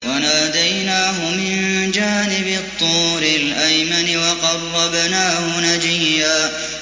وَنَادَيْنَاهُ مِن جَانِبِ الطُّورِ الْأَيْمَنِ وَقَرَّبْنَاهُ نَجِيًّا